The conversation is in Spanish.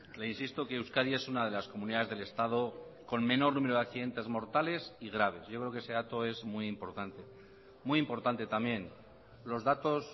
le insisto que euskadi es una de las comunidades del estado con menor número de accidentes mortales y graves yo creo que ese dato es muy importante muy importante también los datos